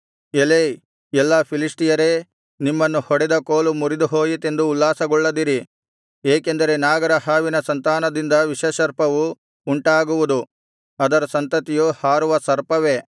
ಎಲೈ ಎಲ್ಲಾ ಫಿಲಿಷ್ಟಿಯರೇ ನಿಮ್ಮನ್ನು ಹೊಡೆದ ಕೋಲು ಮುರಿದುಹೋಯಿತೆಂದು ಉಲ್ಲಾಸಗೊಳ್ಳದಿರಿ ಏಕೆಂದರೆ ನಾಗರ ಹಾವಿನ ಸಂತಾನದಿಂದ ವಿಷಸರ್ಪವು ಉಂಟಾಗುವುದು ಅದರ ಸಂತತಿಯು ಹಾರುವ ಸರ್ಪವೇ